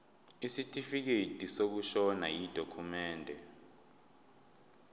isitifikedi sokushona yidokhumende